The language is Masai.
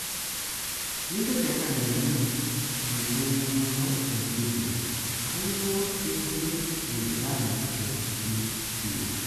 Mintoki ake anining elimunoto e Video, kanyio e deal e Iran te nuklia?